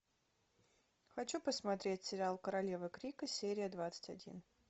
хочу посмотреть сериал королева крика серия двадцать один